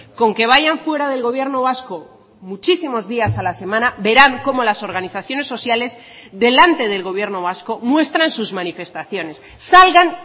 con que vayan fuera del gobierno vasco muchísimos días a la semana verán cómo las organizaciones sociales delante del gobierno vasco muestran sus manifestaciones salgan